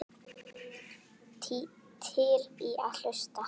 Til í að hlusta.